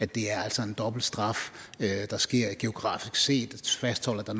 det er altså en dobbelt straf det der sker geografisk set fastholder at der